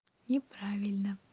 неправильно